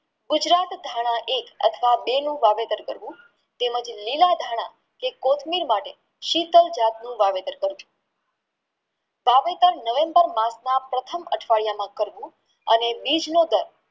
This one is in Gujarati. ગુજરાત ધન એક અથવા બે નું વાવેતર કરવું તેમજ લીલા ધન કે કોથમીર માટે શીતલ જાતનું વાવેતર કરવું વાવેતર નવેમ્બર માસમાં પ્રથમ અઠવાડિયામાં કરવું અને બીજનો દર